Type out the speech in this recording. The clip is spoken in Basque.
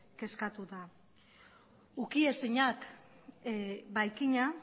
kezkatuta ukiezinak baikina